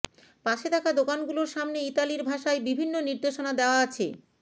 পাশে থাকা দোকানগুলোর সামনে ইতালির ভাষায় বিভিন্ন নির্দেশনা দেওয়া আছে